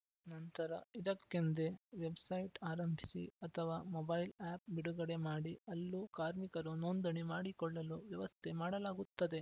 ನಂತರ ಇದಕ್ಕೆಂದೇ ವೆಬ್‌ಸೈಟ್‌ ಆರಂಭಿಸಿ ಅಥವಾ ಮೊಬೈಲ್‌ ಆ್ಯಪ್‌ ಬಿಡುಗಡೆ ಮಾಡಿ ಅಲ್ಲೂ ಕಾರ್ಮಿಕರು ನೋಂದಣಿ ಮಾಡಿಕೊಳ್ಳಲು ವ್ಯವಸ್ಥೆ ಮಾಡಲಾಗುತ್ತದೆ